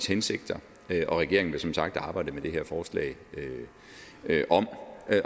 hensigter og regeringen vil som sagt arbejde med det her forslag om